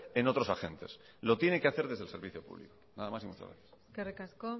en otros agentes lo tiene que hacer desde el servicio público nada más y muchas gracias eskerrik asko